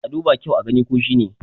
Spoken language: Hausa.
a duba kyau a gani ko shi ne!